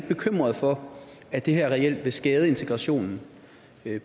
bekymret for at det her reelt vil skade integrationen